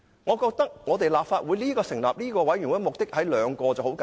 我覺得立法會成立專責委員會的目的只有兩個，很簡單。